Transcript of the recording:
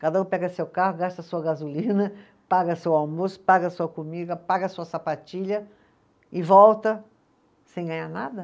Cada um pega seu carro, gasta sua gasolina, paga seu almoço, paga sua comida, paga sua sapatilha e volta sem ganhar nada?